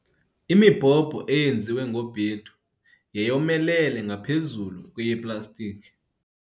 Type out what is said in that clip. Imibhobho eyenziwe ngobhedu yayomelele ngaphezu kweyeplastikhi.